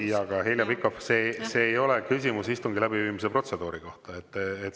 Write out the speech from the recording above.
Jaa, aga Heljo Pikhof, see ei ole küsimus istungi läbiviimise protseduuri kohta.